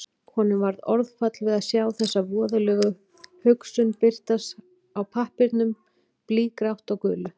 Honum varð orðfall við að sjá þessa voðalegu hugsun birtast á pappírnum, blýgrátt á gulu.